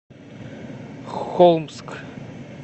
холмск